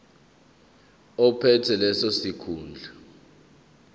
ophethe leso sikhundla